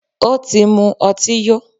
Ó tí mú ọtí yó.